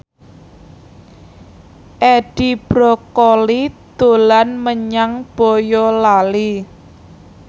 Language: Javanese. Edi Brokoli dolan menyang Boyolali